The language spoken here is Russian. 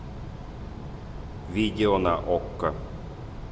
видео на окко